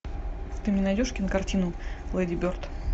ты мне найдешь кинокартину леди берд